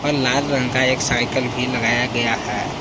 लाल रंग का एक साइकल भी लगाया गया है।